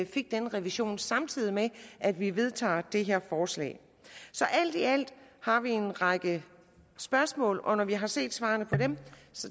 fik den revision samtidig med at vi vedtager det her forslag så alt i alt har vi en række spørgsmål og når vi har set svarene på dem